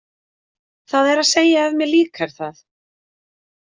Það er að segja ef mér líkar það.